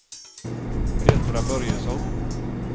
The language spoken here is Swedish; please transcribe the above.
Petra Börjesson